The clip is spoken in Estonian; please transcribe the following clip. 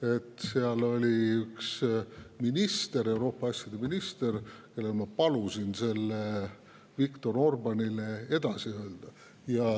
Aga seal oli üks minister, Euroopa asjade minister, kellel ma palusin selle Viktor Orbánile edasi öelda.